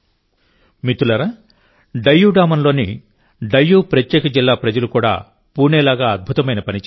మిత్రులారాడామన్ డయ్యూ లోని డయ్యూప్రత్యేక జిల్లా ప్రజలు కూడా పూణే లాగా అద్భుతమైన పని చేశారు